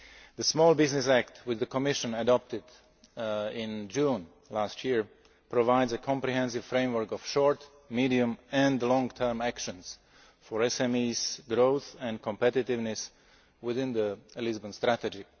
The Small Business Act, which the Commission adopted in June 2008, provides a comprehensive framework of short medium and long term actions for SME growth and competitiveness within the Lisbon Strategy.